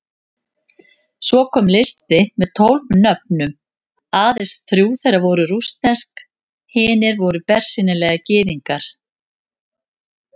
Svo kom listi með tólf nöfnum, aðeins þrjú þeirra voru rússnesk, hinir voru bersýnilega Gyðingar.